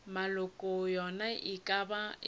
maloko a yona e ka